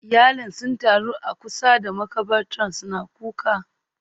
Iyalin sun taru a kusa da makabartar suna kuka